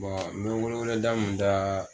n bɛ weleweleda mun da.